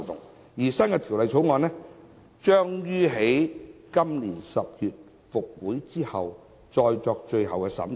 《第2號條例草案》將於今年10月立法會復會後再作最後審議。